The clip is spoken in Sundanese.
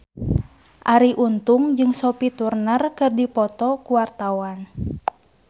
Arie Untung jeung Sophie Turner keur dipoto ku wartawan